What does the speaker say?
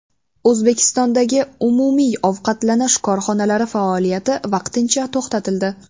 O‘zbekistondagi umumiy ovqatlanish korxonalari faoliyati vaqtincha to‘xtatildi.